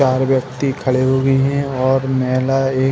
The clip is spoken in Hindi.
चार व्यक्ति खड़े हुए हैं और महिला ये --